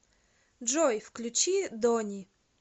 джой включи дони